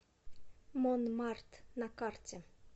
мон март на карте